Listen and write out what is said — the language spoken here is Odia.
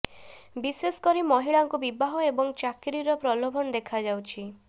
ବିଶେଷ କରି ମହିଳାଙ୍କୁ ବିବାହ ଏବଂ ଚାକିରିର ପ୍ରଲୋଭନ ଦେଖାଯାଉଛି